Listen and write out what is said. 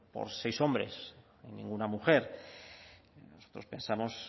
por seis hombres ninguna mujer nosotros pensamos